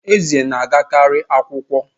Eze na-agakarị akwụkwọ